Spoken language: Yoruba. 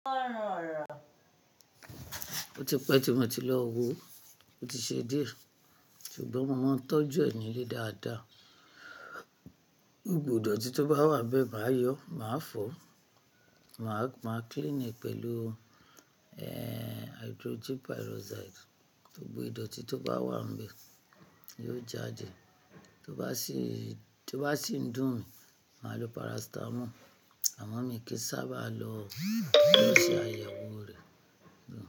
Ó ti pẹ́ tí mo ti lọ wò, ó ti ṣe dié, ṣùgbọ́n mo máa ń tọ́jú ẹ̀ nílé dáadáa. Gbogbo ìdọ̀tí tó bá wà nbẹ́ẹ̀ máa yọ, máa fọ̀, máa clean ẹ̀ pẹ̀lú hydrogen peroxide. Gbogbo ìdọ̀tí tó bá wà nbẹ́ẹ̀ yóò jáde. Tó bá sì ń dùn mi, màá lo paracetamol, àmọ́ mi kì í sábà lo ṣayẹ̀wò rẹ̀.